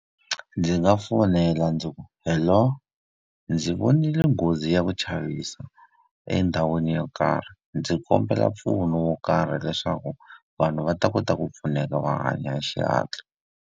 Ndzi nga fonela ndzi ku, hello. Ndzi vonile nghozi ya ku chavisa endhawini yo karhi, ndzi kombela mpfuno wo karhi leswaku vanhu va ta kota ku pfuneka va hanya hi xihatla.